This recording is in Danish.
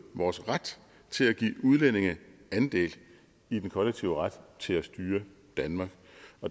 vores ret til at give udlændinge andel i den kollektive ret til at styre danmark